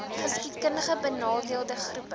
geskiedkundig benadeelde groepe